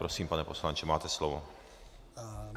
Prosím, pane poslanče, máte slovo.